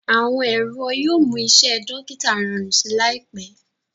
awọn ẹrọ yíò mú Iṣé dókítà rọrùn sí láìpé.